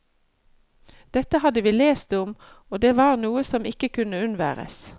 Dette hadde vi lest om og var noe som ikke kunne unnværes.